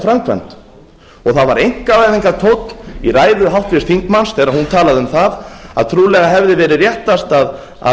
framkvæmd og það var einkavæðingartónn í ræðu háttvirts þingmanns þegar hún talaði um að trúlega hefði verið réttast að